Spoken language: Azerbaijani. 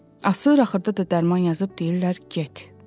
Asır, axırda da dərman yazıb deyirlər get.